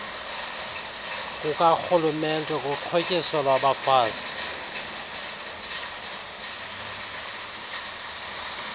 kukarhulumente kuxhotyiso lwabafazi